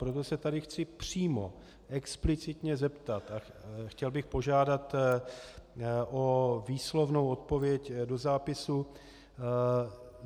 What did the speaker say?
Proto se tady chci přímo explicitně zeptat a chtěl bych požádat o výslovnou odpověď do zápisu.